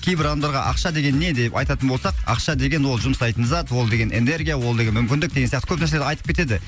кейбір адамдарға ақша деген не деп айтатын болсақ ақша деген ол жұмсайтын зат ол деген энергия ол деген мүмкіндік деген сияқты көп нәрселер айтып кетеді